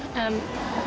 en